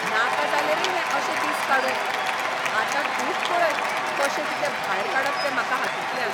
नाका जाले रे हे अशे दीस काडून. आतां तूच पळय कशें कितें भायर काडप तें म्हाका हातूंतल्यान.